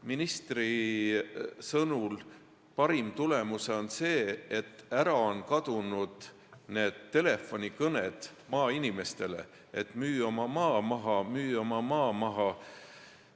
Ministri sõnul on parim tulemus see, et ära on kadunud telefonikõned maainimestele, et müü oma maa maha, müü oma maa maha.